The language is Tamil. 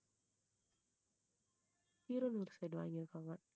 கீரனுர் side வாங்கி இருக்காங்க